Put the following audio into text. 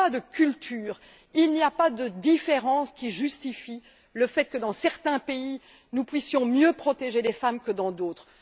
Il n'y a pas de cultures, il n'y a pas de différences, qui justifient le fait que dans certains pays, nous puissions mieux protéger les femmes que dans d'autres.